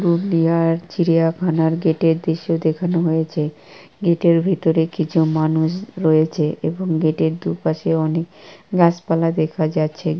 India আর চিড়িয়াখানার gate এর দৃশ্য দেখানো হয়েছে গেট এর ভিতরে কিছু মানুষ রয়েছেএবং গেট এর দুপাশে অনেক গাছপালা দেখা যাচ্ছে।